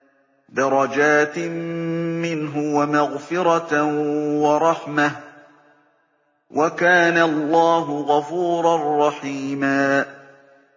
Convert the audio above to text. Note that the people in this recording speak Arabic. دَرَجَاتٍ مِّنْهُ وَمَغْفِرَةً وَرَحْمَةً ۚ وَكَانَ اللَّهُ غَفُورًا رَّحِيمًا